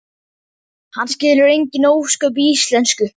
Hann skilur engin ósköp í íslensku.